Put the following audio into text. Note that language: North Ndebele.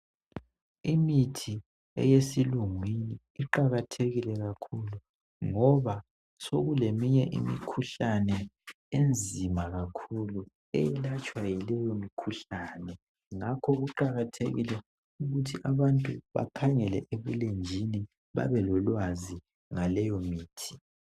Imithi eyesilungwini iqakathekile kakhulu ngoba sokuleminye imikhuhlane enzima kakhulu eyelatshwa yileyomithi ngakho kuqakathekile ukuthi abantu bakhangele ebulenjini babelolwazi ngaleyo mithi.